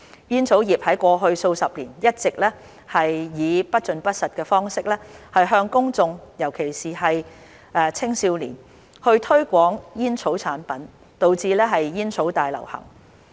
煙草業在過去數十年一直以不盡不實的方式向公眾，尤其青少年，推廣煙草產品，導致煙草大流行。